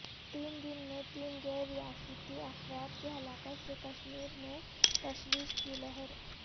تین دن میں تین غیر ریاستی افراد کی ہلاکت سے کشمیر میں تشویش کی لہر